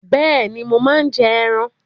Bẹ́ẹ̀ni, mo máa ń jẹ ẹran